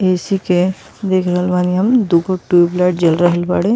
ए.सी. के देख रहल बानी हम। दू गो टूयबलाइट जल रहल बाड़े।